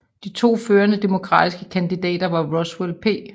De to førende demokratiske kandidater var Roswell P